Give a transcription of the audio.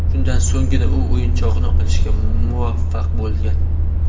Shundan so‘nggina, u o‘yinchoqni olishga muvaffaq bo‘lgan.